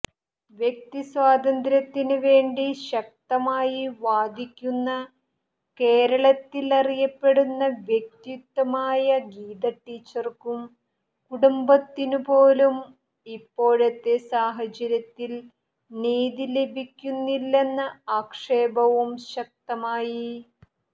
വ്യക്തിസ്വാതന്ത്ര്യത്തിന് വേണ്ടി ശക്തമായി വാദിക്കുന്ന കേരളത്തിൽ അറിയപ്പെടുന്ന വ്യക്തിത്വമായ ഗീതടീച്ചർക്കും കുടുംബത്തിനുംപോലും ഇപ്പോഴത്തെ സാഹചര്യത്തിൽ നീതി ലഭിക്കുന്നില്ലെന്ന ആക്ഷേപവും ശക്തമായി